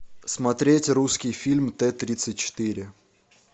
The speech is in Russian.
смотреть русский фильм т тридцать четыре